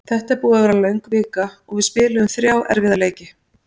Þetta er búið að vera löng vika og við spiluðum þrjá erfiða leiki.